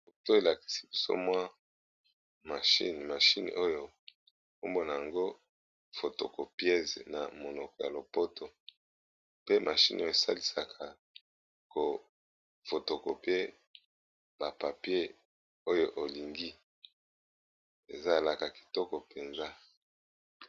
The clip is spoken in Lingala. poto elakisi biso mwa mie mashine oyo ombona yango fotocopiese na monoko ya lopoto pe mashine oyo esalisaka kofotokope bapapie oyo olingi ezalaka kitoko mpenza